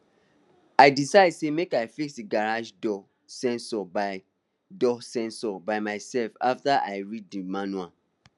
i decide say make i fix my garage door sensor by door sensor by myself after i read di manual